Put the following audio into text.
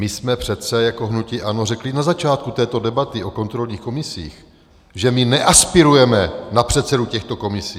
My jsme přece jako hnutí ANO řekli na začátku této debaty o kontrolních komisích, že my neaspirujeme na předsedu těchto komisí.